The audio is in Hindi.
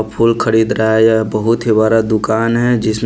फूल खरीद रहा है यह बहुत ही बरा दुकान है जिसमें --